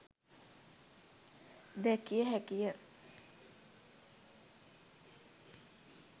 දැකිය හැකි ය.